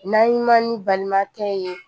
N'an ye man ni balimakɛ ye